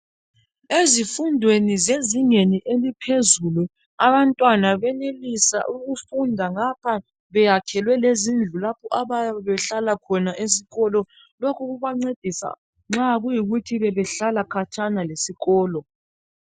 Ezifundweni zezingeni eliphezulu abantwana banelisa ukufunda ngaph beyakhelwe lezindlu lapho abayabe behlala khona esikolo lokhu kuyabe kubangcedisa abayabe behlala khatshana lesikolo